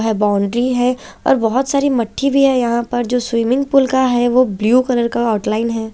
Boundary है और बहोत सारी मठ्ठी भी है यहां पर जो स्विमिंग पूल का है वो ब्लू कलर का आउटलाइन है।